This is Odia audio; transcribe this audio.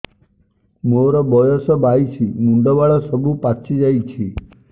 ମୋର ବୟସ ବାଇଶି ମୁଣ୍ଡ ବାଳ ସବୁ ପାଛି ଯାଉଛି